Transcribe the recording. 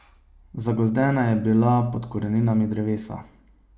Zagozdena je bila pod koreninami drevesa.